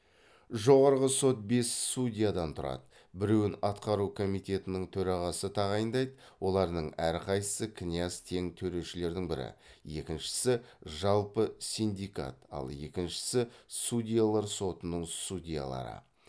жоғарғы сот бес судьядан тұрады біреуін атқару комитетінің төрағасы тағайындайды олардың әрқайсысы князь тең төрешілердің бірі екіншісі жалпы синдикат ал екіншісі судьялар сотының судьялары